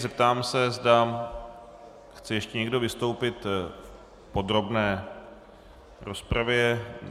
Zeptám se, zda chce ještě někdo vystoupit v podrobné rozpravě.